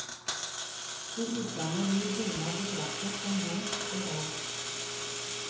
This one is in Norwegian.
I utlandet blir bunad betraktet som bondsk og rart.